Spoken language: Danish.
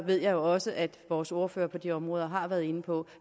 ved jeg også at vores ordfører på de områder har været inde på